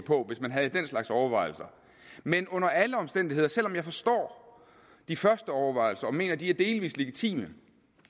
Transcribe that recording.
på hvis man havde den slags overvejelser men under alle omstændigheder selv om jeg forstår de første overvejelser og mener at de er delvis legitime